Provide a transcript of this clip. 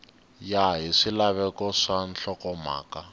ya hi swilaveko swa nhlokomhaka